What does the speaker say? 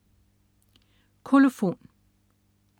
Kolofon